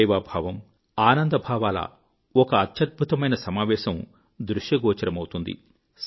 సేవాభావము ఆనందభావముల ఒక అద్భుతమైన సమావేశం దృశ్యగోచరమౌతుంది